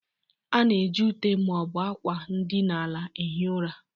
A na-eji ute ma ọ bụ akwa ndịna ala ehie ụra.